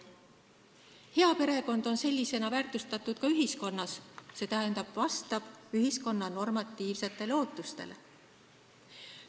Hea perekond on sellisena väärtustatud ka ühiskonnas, st vastab ühiskonna normatiivsetele ootustele.